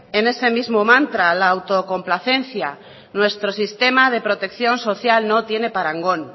en ese mismo mantra la autocomplacencia nuestro sistema de protección social no tiene parangón